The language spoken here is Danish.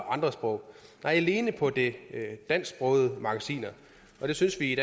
andre sprog nej alene på de dansksprogede magasiner og det synes vi